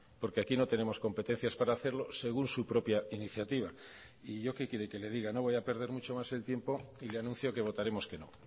porque aquí no tenemos competencias para hacerlo según su propia iniciativa y yo qué quiere que le diga no voy a perder mucho más el tiempo y le anuncio que votaremos que no